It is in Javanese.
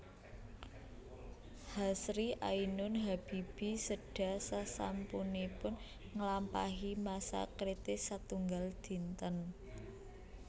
Hasri Ainun Habibie séda sasampunipun nglampahi masa kritis setunggal dinten